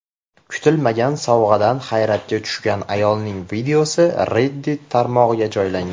Kutilmagan sovg‘adan hayratga tushgan ayolning videosi Reddit tarmog‘iga joylangan .